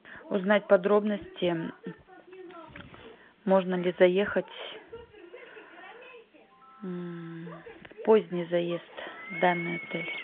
узнать подробности можно ли заехать в поздний заезд в данный отель